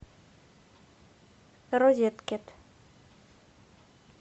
розеткед